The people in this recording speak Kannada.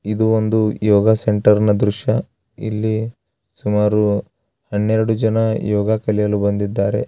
ಇದು ಒಂದು ಯೋಗ ಸೆಂಟರ್ ನ ದ್ರಶ್ಯ ಇಲ್ಲಿ ಸುಮಾರು ಹನ್ನೆರಡು ಜನ ಯೋಗ ಕಲಿಯಲು ಬಂದಿದ್ದಾರೆ.